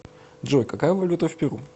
джой какая валюта в перу